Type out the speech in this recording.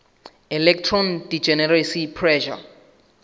electron degeneracy pressure